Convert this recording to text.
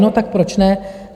No tak proč ne?